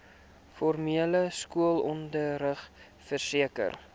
formele skoolonderrig verseker